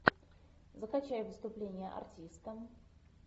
закачай выступление артиста